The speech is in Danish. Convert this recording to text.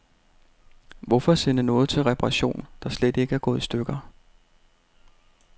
Hvorfor sende noget til reparation, der slet ikke er gået i stykker.